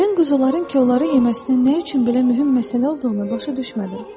Mən quzuların kolları yeməsinin nə üçün belə mühüm məsələ olduğunu başa düşmədim.